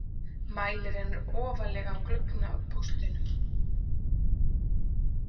Mælirinn er ofarlega á gluggapóstinum.